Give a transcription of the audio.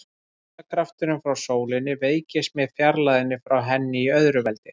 Þyngdarkrafturinn frá sólinni veikist með fjarlægðinni frá henni í öðru veldi.